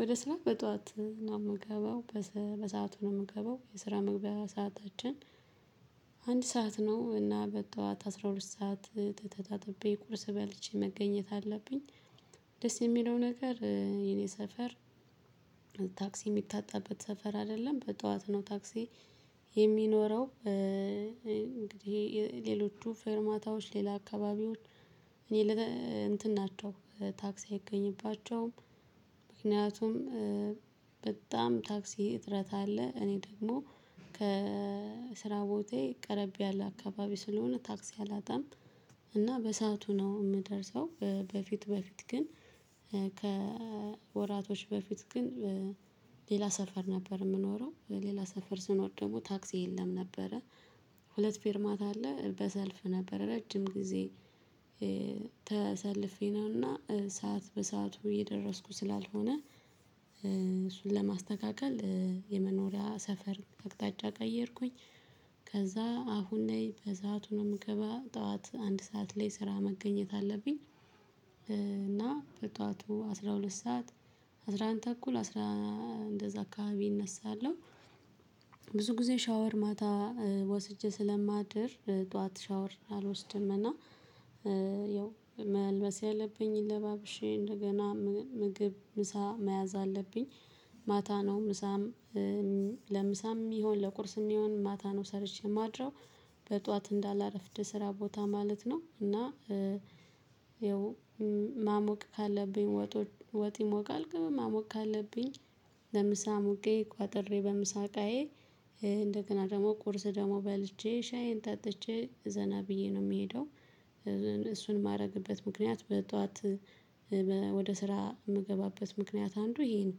ወደ ስራ በጥዋት ነው የምገባው በሰአቱ ነው የምንገባው የስራ መግቢያ ሰዓታችን ሰዓት ነው እና በጠዋት አስራ ሁለት ሰዓት ተጣጥቤ ቁርስ በልቼ መገኘት አለብኝ። ደስ የሚለው ነገር የኔ ሰፈር ታክሲ የሚታጣበት ሰፈር አይደለም በጥዋት ነው ታክሲ የሚኖረው እንግዲህ እሄ ሌሎቹ ፌርማታዎች ሌላ አካባቢዎች እኔ እንትን ናቸው ታክስ አይገኝባቸውም። ምክንያቱም በጣም ታክሲ እጥረት አለ እኔ ደግሞ ከስራ ቦታየ ቀረብ ያለ አካባቢ ስለሆነ ታክሲ አላጣም። እና በሰአቱ ነው የምደርሰው። በፊት በፊት ግን ከወራቶች በፊት ግን ሌላ ሰፈር ነበር የምኖረው ሌላ ሰፈር ስኖር ደግሞ ታክሲ የለም ነበረ። ሁለት ፌርማታ አለ በሰልፍ ነበር ረጅም ጊዜ። ተሰልፌ ነውና ሰዓት በሰአቱ እየደረስኩ ስላልሆነ እሱን ለማስተካከል የመኖሪያ ሰፈር አቅጣጫ ቀየርኩኝ። ከዛ አሁን ላይ በሰአቱ ነው የምገባ ጠዋት አንድ ሰዓት ላይ ስራ መገኘት አለብኝ። እና በጧቱ አስራ ሁለት ሰዓት አስራ አንድ ተኩል አስራ እንደዛ አካባቢ እነሳለሁ። ብዙ ጊዜ ሻወር ማታ ወስጄ ስለማድር ጠዋት ሻወር አልወስድም እና ያው መልበስ ያለብኝን ለባብሼ እንደገና ምግብ ምሳ መያዝ አለብኝ። ማታ ነው ምሳም ለምሳም ይሁን ለቁርስም ይሁን ማታ ነው ሰርቼ የማድረው። በጥዋት እንዳላረፍድ ስራ ቦታ ማለት ነው። እና ያው ማሞቅ ካለብኝ ወጥ ወጥ ይሞቃል ግን ማሞቅ ካለብኝ ለምሳ አሙቄ ቋጥሬ በምሳ እቃየ እንደገና ደግሞ ቁርስ ደግሞ በልቼ ሻዬን ጠጥቼ ዘና ብዬ ነው የምሄደው። እሱን የማደርግበት ምክንያት በጠዋት ወደ ስራ የምገባበት ምክንያት አንዱ እሄ ነው።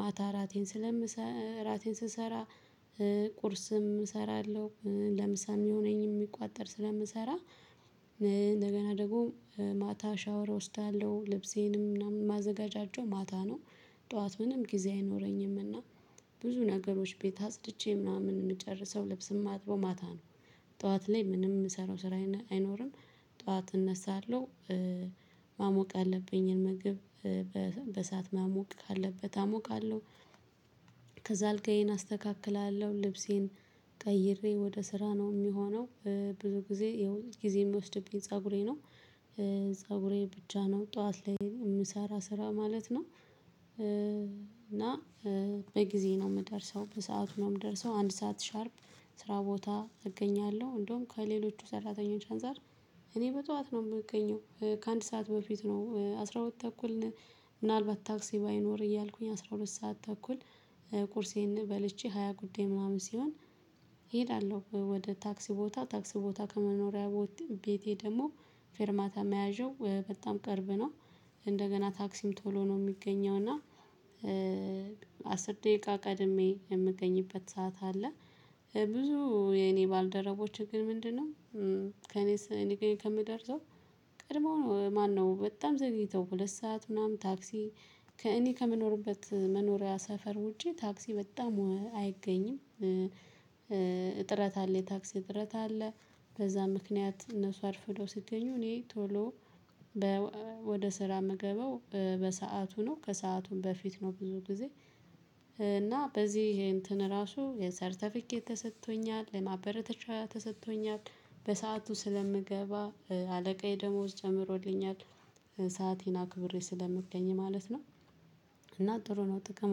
ማታ እራቴን ስለምሰራ እራቴን ስሰራ ቁርስም እሰራለሁ ለምሳ የሚሆነኝም የሚቋጠር ስለምሰራ። እንደገና ደግሞ ማታ ሻወር እወስዳለሁ ልብሴንም ምናምን ማዘጋጃቸው ማታ ነው። ጠዋት ምንም ጊዜ አይኖረኝምና ብዙ ነገሮች ቤት አጽድቼ ምናምን የምጨርሰው ልብስ የማጥበው ማታ ነው። ጠዋት ላይ ምንም የምሰራው ስራ አይኖርም። ጠዋት እነሳለሁ። ማሞቅ ያለብኝን ምግብ በእሳት ማሞቅ ካለበት አሞቃለሁ። ከዛ አልጋዬን አስተካክላለሁ ልብሴን ቀይሬ ወደ ስራ ነው የሚሆነው። ብዙ ጊዜ ጊዜ የሚወስድብኝ ፀጉሬ ነው። ፀጉሬ ብቻ ነው ጠዋት ላይ የምሰራ ስራ ማለት ነው። እና በጊዜ ነው የምደርሰው በሰአቱ ነው የምደርሰው። አንድ ሰዓት ሻርፕ ስራ ቦታ እገኛለሁ። እንደውም ከሌሎቹ ሰራተኞች አንፃር እኔ በጠዋት ነው የምገኘው ከአንድ ሰዓት በፊት ነው አስራ ሁለት ተኩል። ምናልባት ታክሲ ባይኖር እያልኩኝ አስራ ሁለት ሰዓት ተኩል ቁርሴን በልቼ ሃያ ጉዳይ ምናምን ሲሆን እሄዳለሁ ወደ ታክሲ ቦታ ታክሲ ቦታ ከመኖሪያ ቦታ ቤቴ ደግሞ ፌርማታ መያዣው በጣም ቅርብ ነው። እንደገና ታክሲም ቶሎ ነው የሚገኘው እና አስር ደቂቃ ቀድሜ የምገኝበት ሰዓት አለ። ብዙ የኔ ባልደረቦችን ግን ምንድነው? ከእኔ ስንገኝ ከምደርሰው ቀድሞ ነው ማነው በጣም ዘግይተው ሁለት ሰዓት ምናምን ታክሲ ከእኔ ከመኖርበት መኖሪያ ሰፈር ውጪ ታክሲ በጣም አይገኝም። እጥረት አለ የታክሲ እጥረት አለ። በዛ ምክንያት እነሱ አርፍዶው ሲገኙ እኔ ቶሎ ወደ ስራ ምገባው በሰአቱ ነው ከሰአቱም በፊት ነው ብዙ ጊዜ። እና በዚህ እንትን ራሱ የሰርተፊኬት ተሰጥቶኛል የማበረተቻ ተሰጥቶኛል። በሰአቱ ስለምገባ አለቃዬ ደሞዝ ጨምሮልኛል። ሰአቴን አክብሬ ስለምገኝ ማለት ነው። እና ጥሩ ነው ጥቅም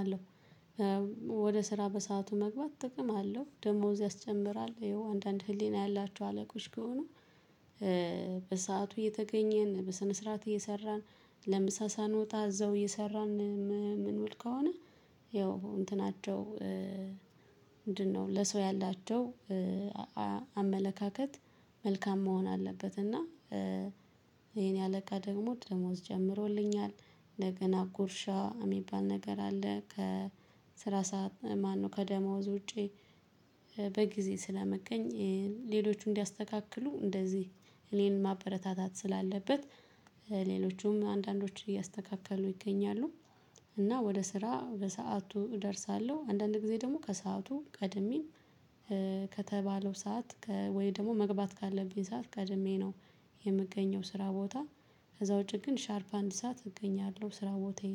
አለው። ወደ ስራ በሰአቱ መግባት ጥቅም አለው ደሞዝ ያስጨምራል እሄው አንዳንድ ህሊና ያላቸው አለቆች ከሆኑ። በሰአቱ እየተገኘን በሰነ ስርዓት እየሰራን ለምሳ ሳንወጣ እዛው እየሰራን ምንዉል ከሆነ። ያው እንትናቸው ምንድነው? ለሰው ያላቸው አመለካከት መልካም መሆን አለበት እና። የኔ አለቃ ደግሞ ደሞዝ ጨምሮልኛል እንደገና ጉርሻ የሚባል ነገር አለ ከስራ ሰዓት ማነው ከደማው ውጪ። በጊዜ ስለምገኝ ሌሎቹ እንዲያስተካክሉ እንደዚህ እኔን ማበረታታት ስላለበት። ሌሎቹም አንዳንዶች እያስተካከሉ ይገኛሉ። እና ወደ ስራ በሰአቱ እደርሳለሁ አንዳንድ ጊዜ ደግሞ ከሰአቱ ቀድሜም። ከተባለው ሰዓት ወይ ደግሞ መግባት ካለብኝ ሰዓት ቀድሜ ነው የምገኘው ስራ ቦታ። ከዛ ውጪ ግን ሻርፕ አንድ ሰዓት እገኛለሁ ስራ ቦታየ ላይ